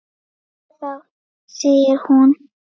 Jæja þá, segir hún.